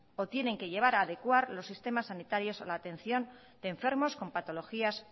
o tienen que llevar a adecuar los sistemas sanitarios a la atención de enfermos con patologías